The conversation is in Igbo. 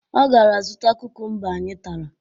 Ọ gara zụta kukumba anyị tara